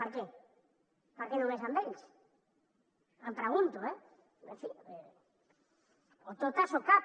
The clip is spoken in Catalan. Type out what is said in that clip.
per què per què només amb ells em pregun·to eh en fi o totes o cap